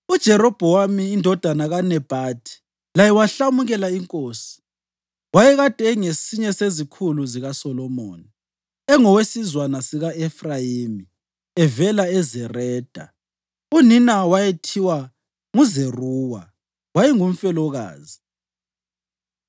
UJerobhowamu indodana kaNebhathi laye wahlamukela inkosi. Wayekade engesinye sezikhulu zikaSolomoni, engowesizwana sika-Efrayimi evela eZereda, unina owayethiwa nguZeruwa wayengumfelokazi.